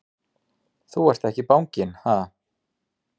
Þú ert ekki banginn, ha!